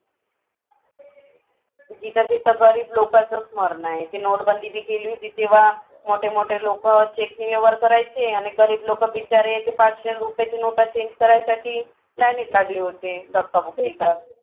जिथं जिथं गरीब लोकांचाच मरणं आहे. नोटबंदी ती केली होती तेव्हा मोठे मोठे लोकं check ने व्यवहार करायचे आणि गरीब लोकं बिचारे ते पाचशे रुपयच्या नोटा change करायसाठी लायनीत लागले होते धक्काबुक्की करत.